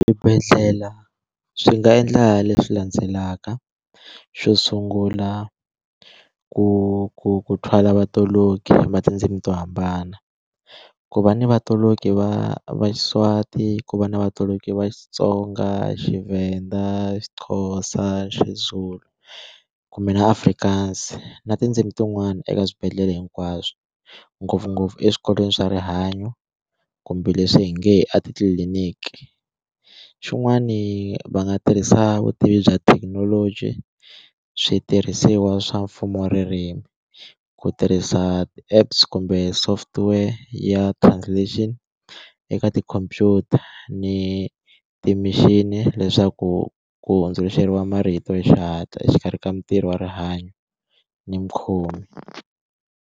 Swibedhlela swi nga endla leswi landzelaka xo sungula ku ku ku thwala vatoloki va tindzimi to hambana ku va ni vatoloki va va Xiswati ku va na vatoloki va Xitsonga, Xivhenda, Xixhosa, Xizulu kumbe na Afrikaans na tindzimi tin'wana eka swibedhlele hinkwaswo ngopfungopfu eswikolweni swa rihanyo kumbe leswi hi nge a titliliniki xin'wani va nga tirhisa vutivi bya thekinoloji switirhisiwa swa mfumo ririmi ku tirhisa ti apps kumbe software ya translation eka tikhompyuta ni ti machine leswaku ku hundzuluxeriwa marito ya xihatla exikarhi ka mintirho wa rihanyo ni mukhomi.